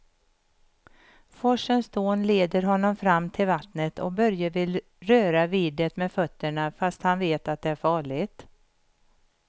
Forsens dån leder honom fram till vattnet och Börje vill röra vid det med fötterna, fast han vet att det är farligt.